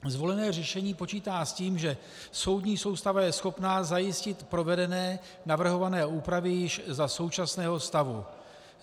Zvolené řešení počítá s tím, že soudní soustava je schopná zajistit provedené navrhované úpravy již za současného stavu.